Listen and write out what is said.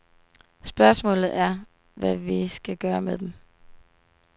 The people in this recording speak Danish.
Spørgsmålet er, hvad vi skal gøre med dem?